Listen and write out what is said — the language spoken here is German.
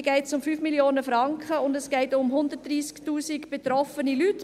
Hier geht es um 5 Mio. Franken, und es geht um 130 000 betroffene Leute.